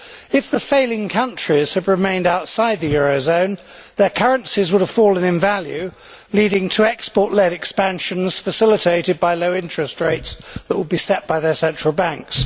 If the failing countries had remained outside the eurozone, their currencies would have fallen in value, leading to export led expansions facilitated by low interest rates that would be set by their central banks.